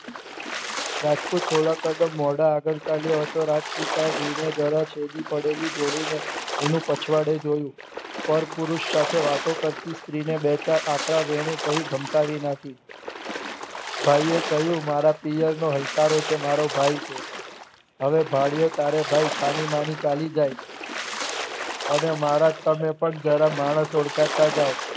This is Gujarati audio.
ભાઈએ કહ્યું મારા પિયરનો હલકારો છે મારો ભાઈ છે હવે ભાળ્યો તારો ભાઈ છાની માનિ ચાલી જાય અને મારા તમે પણ થોડા માણસ ઓળખાતા જાવ